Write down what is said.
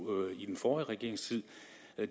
i den forrige regerings tid